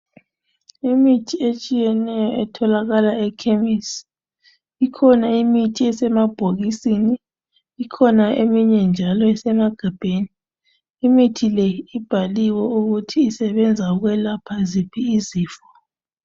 Imithi etshiyeneyo etholakala e khemisi ikhona imithi esemabhokisini ikhona eminye njalo esemagabheni imithi le ibhaliwe ukuthi isebenza ukwelapha ziphi izifo.